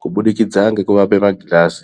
kubudikidza ngekuape magirazi.